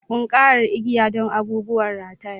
Ƙunƙarar igiya don abubuwan rataye.